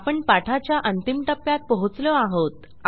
आपण पाठाच्या अंतिम टप्प्यात पोहोचलो आहोत